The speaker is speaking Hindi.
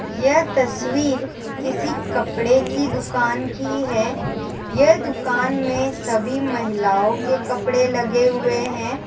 यह तस्वीर किसी कपड़े की दुकान की है यह दुकान में सभी महिलाओं के कपड़े लगे हुए हैं।